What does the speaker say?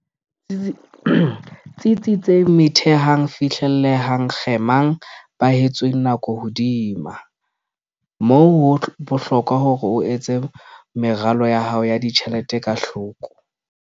Tsitsitseng Methehang Fihlellehang Kgemang Behetsweng Nako Hodima moo, ho bohlokwa hore o etse meralo ya hao ya ditjhelete ka hloko.